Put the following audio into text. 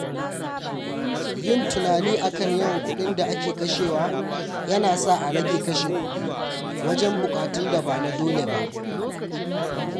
Yin tunani a kan yawan kuɗin da ake kashewa ya na sa a rage kashe kuɗi wajen buƙatun da ba na dole ba.